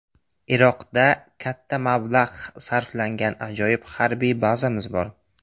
Iroqda katta mablag‘ sarflangan ajoyib harbiy bazamiz bor.